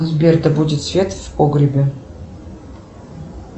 сбер да будет свет в погребе